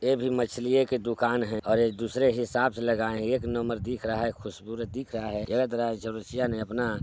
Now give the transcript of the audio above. ये भी मछलीये के दूकान है और ये दूसरे हिसाब से लगाय है एक नंबर दिख रहा है खुबसूरत दिख रहा है। चौरसिया ने अपना--